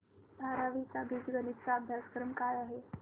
बारावी चा बीजगणिता चा अभ्यासक्रम काय आहे